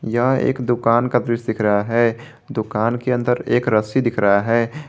यह एक दुकान का दृश्य दिख रहा है दुकान के अंदर एक रस्सी दिख रहा है।